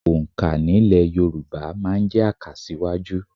Òǹkà nílẹ̀ Yorùbá máa ń jẹ́ àkàsíwájú